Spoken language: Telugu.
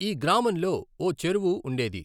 ఈ గ్రామంలో ఓ చెరువు ఉండేది.